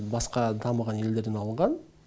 басқа дамыған елдерден алынған